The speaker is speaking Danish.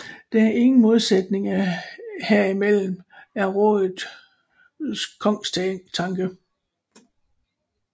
Der er ingen modsætninger herimellem er rådets kongstanke